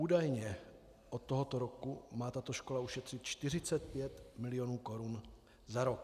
Údajně od tohoto roku má tato škola ušetřit 45 mil. korun za rok.